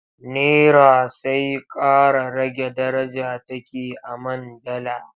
Nera sai ƙara rage daraja take a man dala.